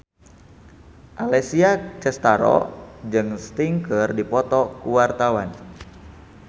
Alessia Cestaro jeung Sting keur dipoto ku wartawan